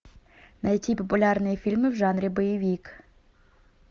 найти популярные фильмы в жанре боевик